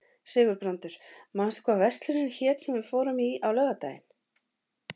Sigurbrandur, manstu hvað verslunin hét sem við fórum í á laugardaginn?